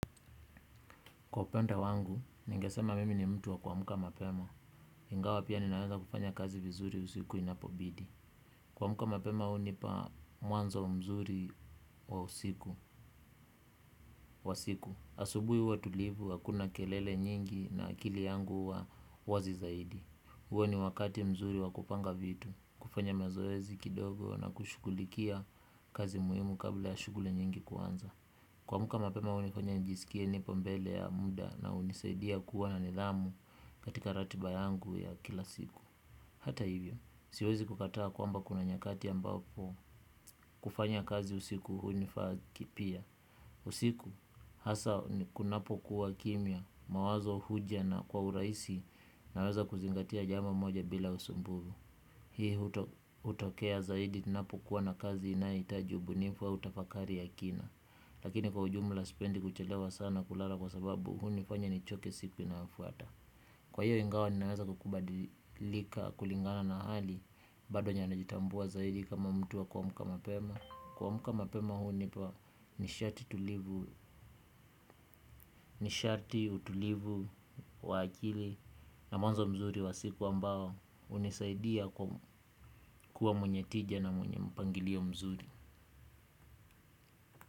Kwa upande wangu, ningesema mimi ni mtu wa kuamka mapema. Ingawa pia ninaweza kufanya kazi vizuri usiku inapobidi. Kuamka mapema hunipa muanzo wa mzuri wa usiku wa siku. Asubui hua tulivu, hakuna kelele nyingi na akili yangu hua wazi zaidi. Huo ni wakati mzuri wa kupanga vitu. Kufanya mazoezi kidogo na kushughulikia kazi muhimu kabla ya shughli nyingi kuanza. Kuamka mapema hunifanya njisikie nipo mbele ya mda na unisaidia kuwa na nidhamu katika ratiba yangu ya kila siku. Hata hivyo, siwezi kukataa kwamba kuna nyakati ambapo kufanya kazi usiku hunifaa kipia. Usiku, hasa kunapokuwa kimya, mawazo huja na kwa uraisi naweza kuzingatia jambo moja bila usumbuvu. Hii hutokea zaidi ninapokuwa na kazi inayeitaji ubunifu au tafakari ya kina. Lakini kwa ujumla sipendi kuchelewa sana kulala kwa sababu hunifanya nichoke siku inayofuata. Kwa hiyo ingawa ninaweza kukubadilika kulingana na hali. Bado nyanayajitambua zaidi kama mtu wa kuamka mapema. Kuamka mapema hunipa nishati nishati utulivu wa akili na mwanzo mzuri wa siku ambao unisaidia kuwa mwenye tija na mwenye mpangilio mzuri.